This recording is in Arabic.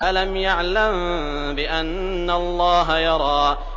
أَلَمْ يَعْلَم بِأَنَّ اللَّهَ يَرَىٰ